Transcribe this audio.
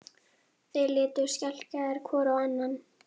Hvað er nákvæmlega þjóðstjórn?